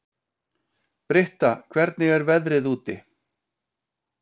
Britta, hvernig er veðrið úti?